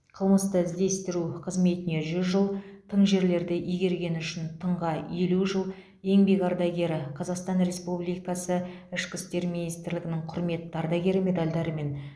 қылмысты іздестіру қызметіне жүз жыл тың жерлерді игергені үшін тыңға елу жыл еңбек ардагері қазақстан республикасы ішкі істер министрлігінің құрметті ардагері медальдарымен